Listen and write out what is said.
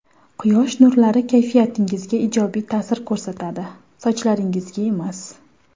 Quyosh nurlari kayfiyatingizga ijobiy ta’sir ko‘rsatadi, sochlaringizga emas.